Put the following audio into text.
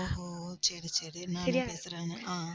ஓஹோ சரி சரி நானே பேசுறேன் அஹ்